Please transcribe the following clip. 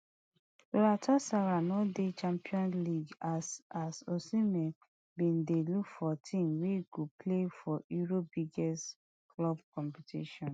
galatasaray no dey champions league as as osimhen bin dey look for team wey go play for europe biggest club competition